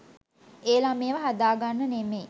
ඒ ළමයව හදා ගන්න නෙමෙයි.